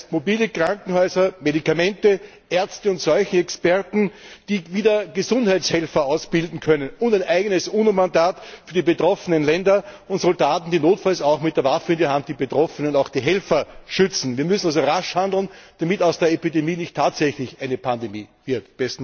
Das heißt mobile Krankenhäuser, Medikamente, Ärzte und Seuchenexperten, die wieder Gesundheitshelfer ausbilden können, und ein eigenes UNO Mandat für die betroffenen Länder und Soldaten, die notfalls auch mit der Waffe in der Hand die Betroffenen und auch die Helfer schützen. Wir müssen also rasch handeln, damit aus der Epidemie nicht tatsächlich eine Pandemie wird.